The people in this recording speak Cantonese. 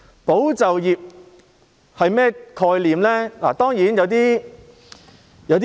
"保就業"的概念是甚麼？